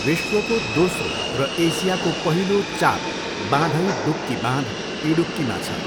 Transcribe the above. विश्वको दोस्रो र एसियाको पहिलो चाप बाँधइडुक्की बाँध, इडुक्कीमा छ।